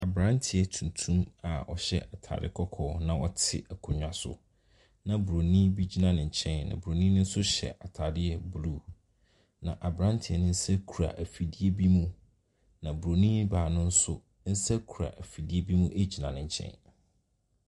Mmranteɛ tuntum a ɔhyɛ ataare kɔkɔɔ a ɔhyɛ ataare kɔkɔɔ na ɔte akonnwa so, na Buroni bi gyina ne nkyɛn. Na Buroni no nso hyɛ ataadeɛ yellow. Na abranteɛ no nsa kura afidie bi mu. Na Buroni baa nsa kura afidie bi mu gyina ne nkyɛn. Emu atuntumfoɔ ne akɔkɔɔfo. Emu ataaretenten ne emu ataare tietia.